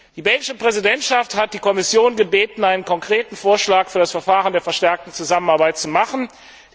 Die belgische Präsidentschaft hat die Kommission gebeten, einen konkreten Vorschlag für das Verfahren der verstärkten Zusammenarbeit vorzulegen.